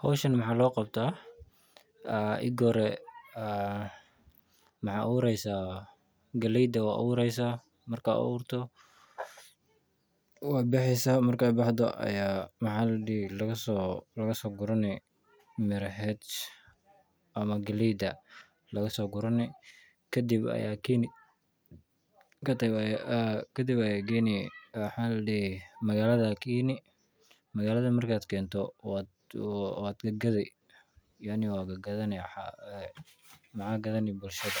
Hawshaan maxa loo qabtaa, ega hore maxa abureysa galeyda aa aburaysa, marka aburto waa baxeysa ,marka baxdo aya maha ladihi lago so gurani miraheed ama galeyda laga so gurani kadib aya gayni magalada waad gagadhi yaani waad gagadhani waxa kagadhani bulshada